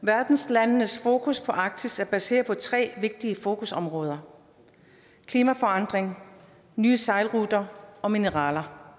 landenes fokus på arktis er baseret på tre vigtige fokusområder klimaforandringer nye sejlruter og mineraler